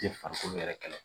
Tɛ farikolo yɛrɛ kɛlɛ